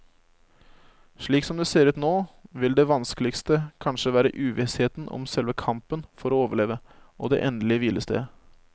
Slik som det ser ut nå, vil det vanskeligste kanskje være uvissheten om selve kampen for å overleve og det endelige hvilestedet.